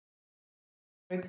aldrei spóinn vellir graut.